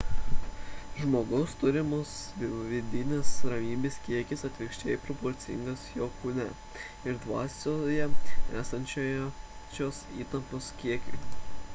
žmogaus turimas vidinės ramybės kiekis atvirkščiai proporcingas jo kūne ir dvasioje esančios įtampos kiekiui